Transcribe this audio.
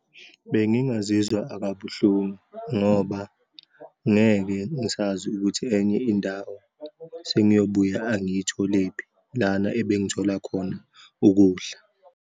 Bengingazizwa akabuhlungu ngoba ngeke ngisazi ukuthi enye indawo sengiyobuya angiyitholephi lana ebengithola khona ukudla.